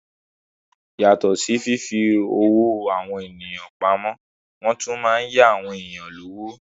Yàtọ̀ sí fífi owó àwọn èèyàn pamọ́, wọ́n tún má n yá àwọn èèyàn lówó